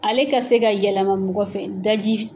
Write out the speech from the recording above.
Ale ka se ka yɛlɛma mɔgɔ fɛ, daji